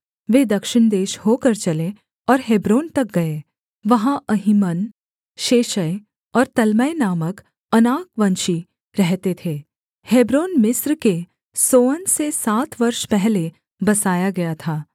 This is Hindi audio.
वे दक्षिण देश होकर चले और हेब्रोन तक गए वहाँ अहीमन शेशै और तल्मै नामक अनाकवंशी रहते थे हेब्रोन मिस्र के सोअन से सात वर्ष पहले बसाया गया था